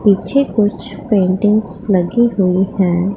पीछे कुछ पेंटिंग्स लगी हुई हैं।